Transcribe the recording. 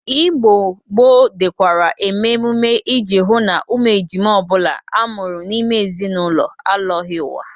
Igbo gboo dịkwara eme ememe ị ji hụ na ụmụ ejima ọ bụla a mụrụ n'ime ezinaụlọ alọghị ụwa.